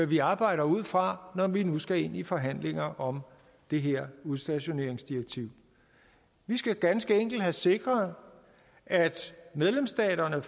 vi arbejder ud fra når vi nu skal ind i forhandlinger om det her udstationeringsdirektiv vi skal ganske enkelt have sikret at medlemsstaterne